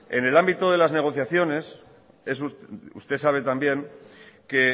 en el ámbito de las negociaciones usted sabe también que